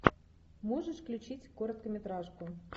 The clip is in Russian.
можешь включить короткометражку